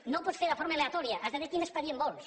no ho pots fer de forma aleatòria has de dir quin expedient vols